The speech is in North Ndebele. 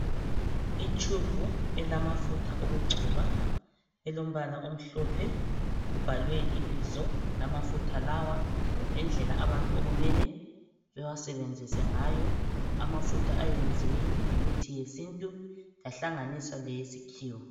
Itshubhu elamafutha okugcoba, elombala omhlophe. Kubhalwe ibizo lamafutha lawa lendlela abantu okumele bewasebenzise ngayo. Amafutha ayenziwe ngemithi yesintu yahlanganiswa leyesikhiwa.